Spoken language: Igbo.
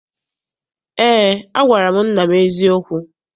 Eé, agwara m nna m eziokwu.